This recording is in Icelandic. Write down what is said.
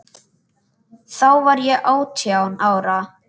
Þá var ég átján ára.